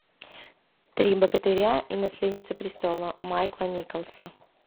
три богатыря и наследница престола майка николса